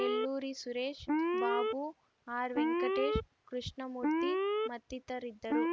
ನೆಲ್ಲೂರಿ ಸುರೇಶ್‌ ಬಾಬು ಆರ್‌ವೆಂಕಟೇಶ್‌ ಕೃಷ್ಣಮೂರ್ತಿ ಮತ್ತಿತರಿದ್ದರು